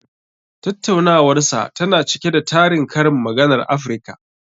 Tattaunawarsa tana cike da tarin karin maganar Afirka.